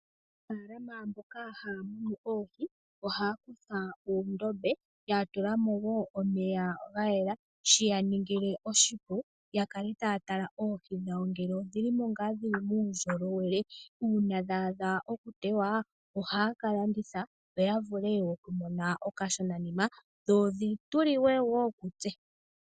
Aanafaalama mboka haya munu oohi ohaya longitha oondombe yatulamo woo omeya ga yela shiya ningile oshipu yakale taya tala ngele oohi dhawo idhina uundjolowele. Uuna dha adha oku tewa ohaya ka landitha opo ya vule oku mona okashonanima dho dhi liwe woo kutse.